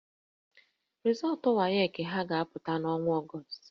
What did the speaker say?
Rịzọọtụ WAEC ha ga-apụta n'ọnwa Ọgọọst